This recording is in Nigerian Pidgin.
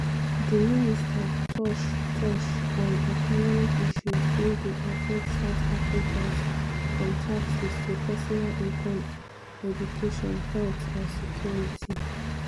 di minister touch touch on economic issues wey dey affect south africans - from taxes to personal income education health and security.